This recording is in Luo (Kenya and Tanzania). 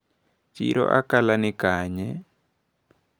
Chiro Akala ni kanye?